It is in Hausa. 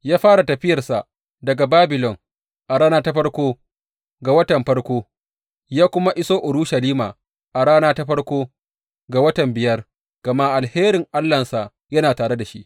Ya fara tafiyarsa daga Babilon a rana ta farko ga watan farko, ya kuma iso Urushalima a rana ta farko ga watan biyar, gama alherin Allahnsa yana tare da shi.